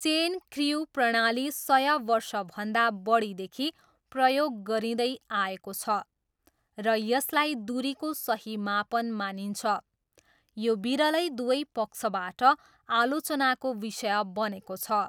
Chain crew प्रणाली सय वर्षभन्दा बढीदेखि प्रयोग गरिँदै आएको छ र यसलाई दुरीको सही मापन मानिन्छ, यो विरलै दुवै पक्षबाट आलोचनाको विषय बनेको छ।